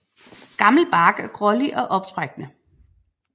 Gammel bark er grålig og opsprækkende